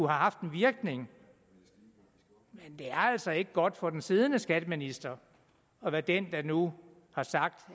haft en virkning men det er altså ikke godt for den siddende skatteminister at være den der nu har sagt